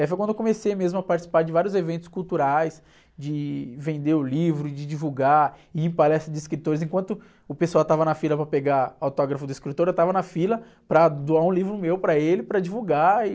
Aí foi quando eu comecei mesmo a participar de vários eventos culturais, de vender o livro, de divulgar, ir em palestras de escritores, enquanto o pessoal estava na fila para pegar autógrafo do escritor, eu estava na fila para doar um livro meu para ele, para divulgar e...